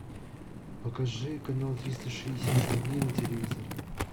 покажи канал триста шестьдесят пять дней на телевизоре